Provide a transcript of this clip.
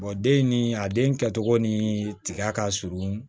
den ni a den kɛcogo ni tiga ka surun